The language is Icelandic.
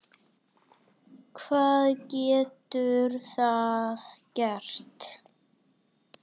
Hvað getur það gert?